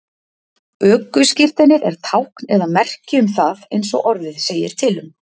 Ökuskírteinið er tákn eða merki um það, eins og orðið segir til um.